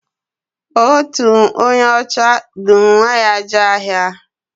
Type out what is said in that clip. Otu onye ọcha du nwa ya jee ahịa.